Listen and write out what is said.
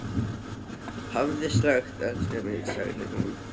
Hafðu slökkt elskan mín, sagði hún.